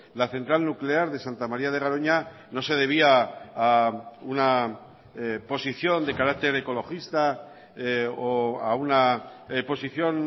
la central nuclear de santa maría de garoña no se debía a una posición de carácter ecologista o a una posición